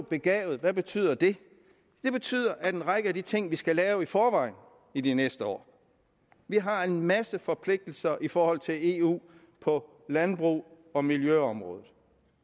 begavet hvad betyder det det betyder en række af de ting vi skal lave i forvejen i de næste år vi har en masse forpligtelser i forhold til eu på landbrugs og miljøområdet